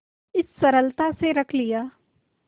इस सरलता से रख लिया